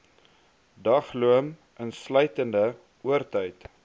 dagloon insluitende oortyd